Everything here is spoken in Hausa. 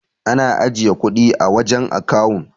Ana ajiye kudin a wajan akawun